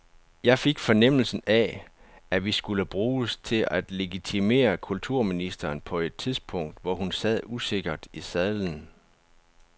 Jeg fik fornemmelsen af, at vi skulle bruges til at legitimere kulturministeren på et tidspunkt, hvor hun sad usikkert i sadlen.